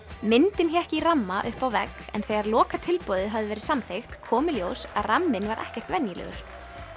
myndin hékk í ramma uppi á vegg en þegar hafði verið samþykkt kom í ljós að ramminn var ekkert venjulegur